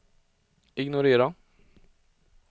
ignorera